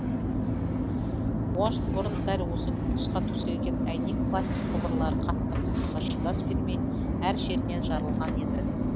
он жыл бұрын дәл осы тұсқа төселген әйнек пластик құбырлар қатты қысымға шыдас бермей әр жерінен жарылған еді